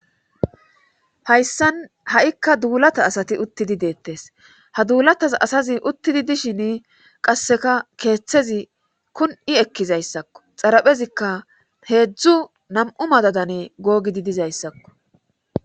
Hayssan ha7ikka duulata asati uttidi deettes ha duulatas asazi uttidi dishin qasseka keeththezi kun7i ekkizayssakko xaraphezikka heedzdzu nam7u madadane googidi dizayssakko